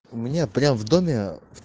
у меня прямо в доме